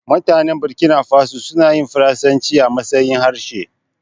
Mutanen Burkina faso suna yin faransaci a matsayin harshe.